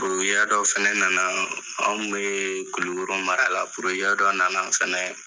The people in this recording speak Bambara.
dɔ fɛnɛ na na an kun bɛ Kulukoro mara la dɔ na na yen fɛnɛ.